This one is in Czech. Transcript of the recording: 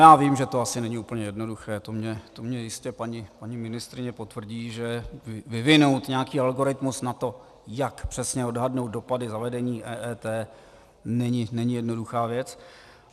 Já vím, že to asi není úplně jednoduché, to mi jistě paní ministryně potvrdí, že vyvinout nějaký algoritmus na to, jak přesně odhadnout dopady zavedení EET, není jednoduchá věc.